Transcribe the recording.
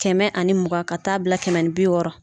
Kɛmɛ ani mugan ka taa bila kɛmɛ ni bi wɔɔrɔ.